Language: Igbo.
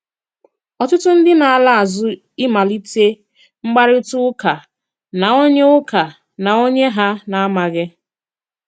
Ọ̀tùtù ndị na-ala àzù ịmalìtè mkpàrịtà ùkà na onye ùkà na onye ha na-amàghì.